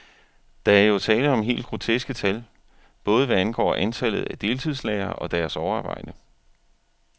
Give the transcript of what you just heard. Der er jo tale om helt groteske tal, både hvad angår antallet af deltidslærere og deres overarbejde.